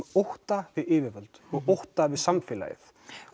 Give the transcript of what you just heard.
ótta við yfirvöld og ótta við samfélagið